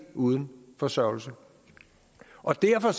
uden forsørgelse og derfor